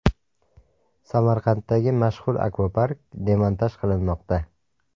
Samarqanddagi mashhur akvapark demontaj qilinmoqda.